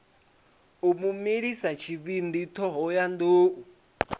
u mu milisa tshivhindi thohoyanḓ